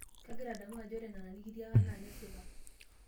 Kagira adamu ajo ore nena nikitiaka naa kesipa.